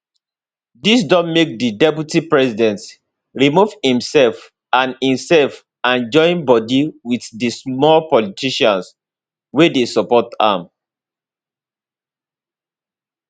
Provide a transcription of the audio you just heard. dis don make di deputy president remove imsef and imsef and join bodi wit di small politicians wey dey support am